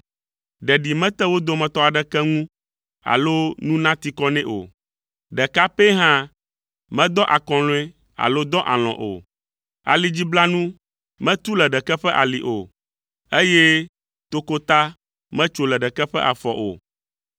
Ɖeɖi mete wo dometɔ aɖeke ŋu alo nu nati kɔ nɛ o. Ɖeka pɛ hã medɔ akɔlɔ̃e alo dɔ alɔ̃ o. Alidziblanu metu le ɖeke ƒe ali o, eye tokota metso le ɖeke ƒe afɔ o.